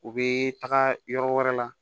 U bɛ taga yɔrɔ wɛrɛ la